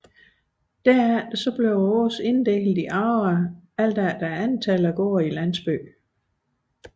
Derefter blev åsene inddelt i agre efter antallet af gårde i landsbyen